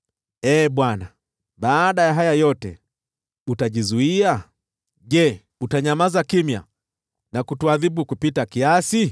Ee Bwana , baada ya haya yote, utajizuia? Je, utanyamaza kimya na kutuadhibu kupita kiasi?